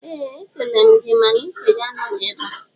ee e kelere m gị mana uche gị anọghị ebe a